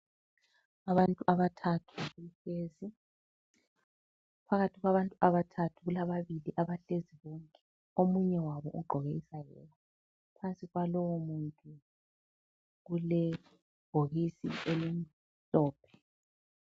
Abantu abathathu bahlezi. Phakathi kwabantu abathathu, kulaba bili abahleziyo bonke. Omunye wabo ugqoke isayeke. Phansi kwa lowo muntu kulebhokisi elimhlophe.